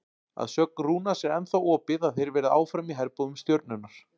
Að sögn Rúnars er ennþá opið að þeir verði áfram í herbúðum Stjörnunnar.